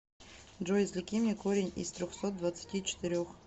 джой извлеки мне корень из трехсот двадцати четырех